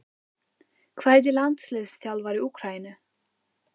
Hvað heitir landsliðsþjálfari Úkraínu?